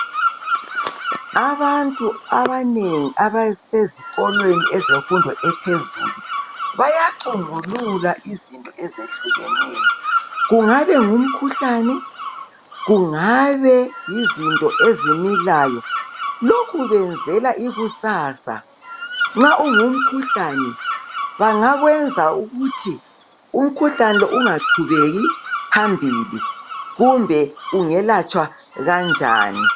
Abantu abanengi abasezikolweni ezemfundo ephezulu. . Bayacumbulula iizinto ezehlukeneyo, kungabe kuyimikhuhlane, kungaba yizinto ezimilayo. Lokhu benzela ikusasa. Nxa kungumkhuhlane bayabe besenzela ukuthi ungaqhubekeli phambili, kumbe ukuthi ungelatshwa kanjani.